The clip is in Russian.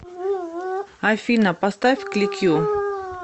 афина поставь кликью